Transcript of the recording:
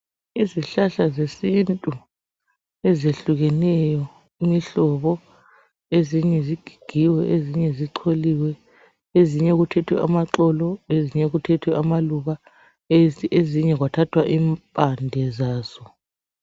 Izihlahla zesintu ezehlukeneyo, imihlobo. Ezinye zigigiwe, ezinye zicholiwe, ezinye kuthethwe amaxolo, ezinye kuthethwe amaluba, ezinye kwathathwa impande zazo.